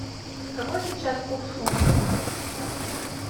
какой сейчас курс фунтов